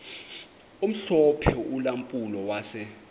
omhlophe ulampulo wase